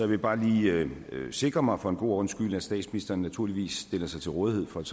vil bare lige sikre mig for en god ordens skyld at statsministeren naturligvis stiller sig til rådighed for et